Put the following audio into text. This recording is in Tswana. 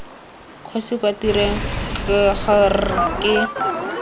kgosi kwa tirong kgr ke